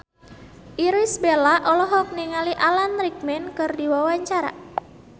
Irish Bella olohok ningali Alan Rickman keur diwawancara